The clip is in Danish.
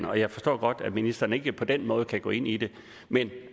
og jeg forstår godt at ministeren ikke på den måde kan gå ind i det men